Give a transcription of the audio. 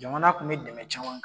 Jamana tun bɛ dɛmɛ caman kɛ.